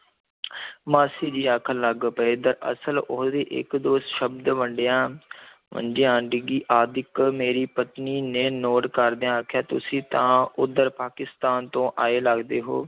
ਮਾਸੀ ਜੀ ਆਖਣ ਲੱਗ ਪਏ, ਦਰਅਸਲ ਉਹਦੇ ਇੱਕ ਦੋ ਸ਼ਬਦ ਵੰਡਿਆ ਡਿਗੀ ਆਦਿਕ ਮੇਰੀ ਪਤਨੀ ਨੇ note ਕਰਦਿਆਂ ਆਖਿਆ, ਤੁਸੀਂ ਤਾਂ ਉੱਧਰ ਪਾਕਿਸਤਾਨ ਤੋਂ ਆਏ ਲੱਗਦੇ ਹੋ।